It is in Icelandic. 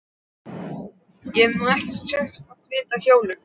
Ég hef nú ekkert sérstakt vit á hjólum.